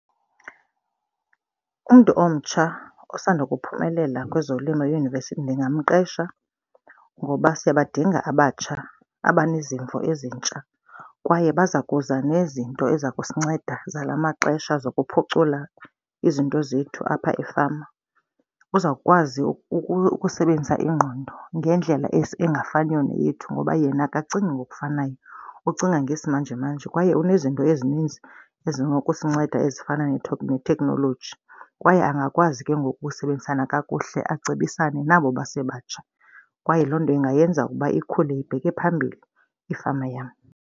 Umntu omtsha osanda ukuphumelela kwezolimo eyunivesithi ndingamqesha ngoba siyabadinga abatsha abanezimvo ezintsha. Kwaye baza kuza nezinto eza kusinceda zala maxesha zokuphucula izinto zethu apha efama. Uzawukwazi ukukusebenzisa ingqondo ngendlela esingafaniyo neyethu ngoba yena akacingi ngokufanayo, ucinga ngesimanjemanje. Kwaye unezinto ezininzi ezinosikunceda ezifana neteknoloji. Kwaye angakwazi ke ngoku ukusebenzisana kakuhle acebisane nabo basebatsha kwaye loo nto ingayenza ukuba ikhule ibheke phambili ifama yam.